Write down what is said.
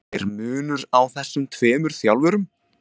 Er munur á þessum tveimur þjálfurum?